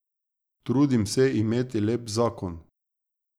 Trudim se imeti lep zakon.